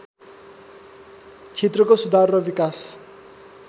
क्षेत्रको सुधार र विकास